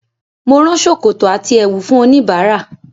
Mo rán ṣòkòtò àti ẹ̀wù fún oníbàárà,